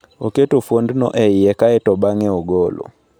Oketo fuondno e iye kae to bang'e ogolo.